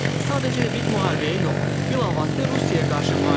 Sadəcə hibrid müharibəyə yox, bilavasitə Rusiyaya qarşı müharibəyə.